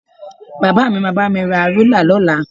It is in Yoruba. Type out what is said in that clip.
Bàbá mi máa bá mi ra rúlà lọ́la